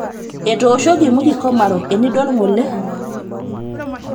otooshoki Mwiki-Komarock endiol ng'ole